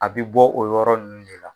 A bi bɔ o yɔrɔ nunnu de la.